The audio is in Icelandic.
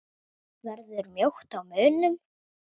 Verður mjótt á munum?